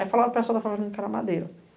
Aí falaram para pessoal da favelinha que era madeira.